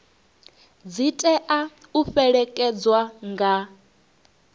dzi tea u fhelekedzwa nga